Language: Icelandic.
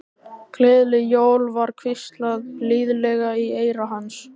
Gleðileg jól var hvíslað blíðlega í eyra hans.